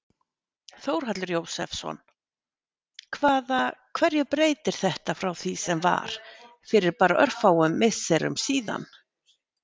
Þórhallur Jósefsson: Hvaða, hverju breytir þetta frá því sem var fyrir bara örfáum misserum síðan?